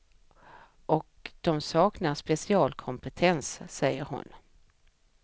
Och de saknar specialkompetens, säger hon.